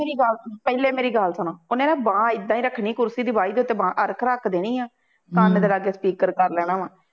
ਪਹਿਲੇ ਮੇਰੀ ਗੱਲ ਸੁਣੋ, ਉਹਨੇ ਨਾ ਬਾਂਹ ਏਦਾ ਹੀ ਰੱਖਣੀ ਕੁਰਸੀ ਦੀ ਬਾਹੀ ਦੇ ਉੱਤੇ ਬਾਂਹ ਇੱਕ ਰੱਖ ਦੇਣੀ ਆ, ਕੰਨ ਤੇ ਲਾ ਕੇ speaker ਕਰ ਲੈਣਾ ਵਾ